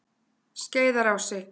Skeiðarási